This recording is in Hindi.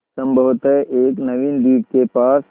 संभवत एक नवीन द्वीप के पास